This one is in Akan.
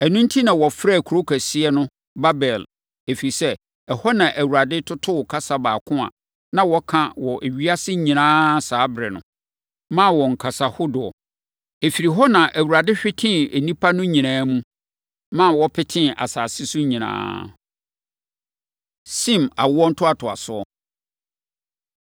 Ɛno enti na wɔfrɛɛ kuro kɛseɛ no Babel, + 11.9 Edin Babel no kyerɛ basabasa wɔ Hebri kasa mu. ɛfiri sɛ, ɛhɔ na Awurade totoo kasa baako a na wɔka wɔ ewiase nyinaa saa ɛberɛ no, maa wɔn kasa hodoɔ. Ɛfiri hɔ na Awurade hwetee nnipa no nyinaa mu, ma wɔpetee asase so nyinaa. Sem Awoɔ Ntoatoasoɔ